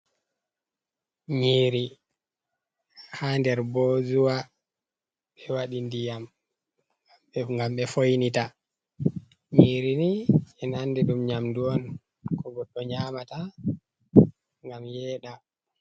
Nyiiri ha nder bozuwa, ɓe waɗi ndiyam gam ɓe foinita, nyiri ni men ande ɗum nyamdu on ko goɗɗo nyamata gam yeɗa.